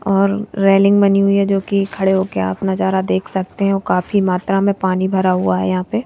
और रेलिंग बनी हुई हैजो कि खड़े होकर आप नजारा देख सकते हैंऔर काफी मात्रा में पानी भरा हुआ है यहां पे।